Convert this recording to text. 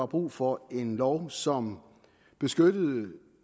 brug for en lov som beskytter